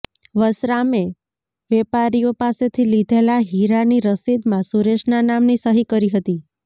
વસરામે વેપારીઓ પાસેથી લીધેલા હીરાની રસીદમાં સુરેશના નામની સહી કરી હતી